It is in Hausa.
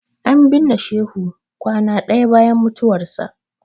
An binne Shehu kwana ɗaya bayan mutuwarsa.